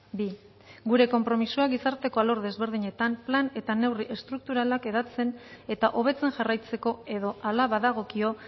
bi gure konpromisoa gizarteko alor desberdinetan plan eta neurri estrukturalak hedatzen eta hobetzen jarraitzeko edo ala badagokio